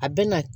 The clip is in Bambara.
A bɛ na